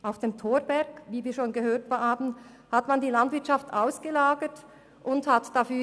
Auf dem Thorberg hat man die Landwirtschaft ausgelagert, wie wir bereits gehört haben.